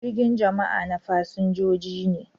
Jirgin jama'a na fasinjoji ne.